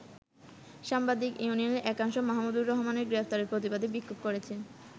সাংবাদিক ইউনিয়নের একাংশ মাহমুদুর রহমানের গ্রেপ্তারের প্রতিবাদে বিক্ষোভ করেছে।